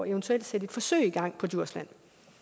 eventuelt at sætte et forsøg i gang på djursland